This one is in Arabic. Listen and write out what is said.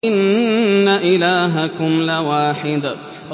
إِنَّ إِلَٰهَكُمْ لَوَاحِدٌ